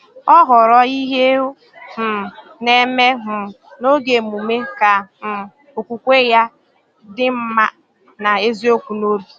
Ọ họrọ ihe ọ um na-eme um n’oge emume, ka um okwukwe ya dị mma na eziokwu n’obi.